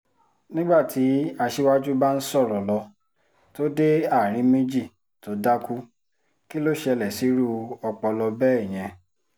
nígbà tí aṣíwájú bá ń sọ̀rọ̀ lọ tó dé àárín méjì tó dákú kí ló ṣẹlẹ̀ sírú ọpọlọ bẹ́ẹ̀ yẹn